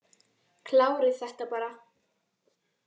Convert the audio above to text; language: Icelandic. Kláriði þetta bara.